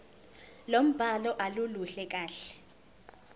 lombhalo aluluhle kahle